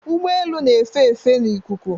Ụgbọ elu na-efe efe n'ikuku